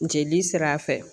Jeli sira fɛ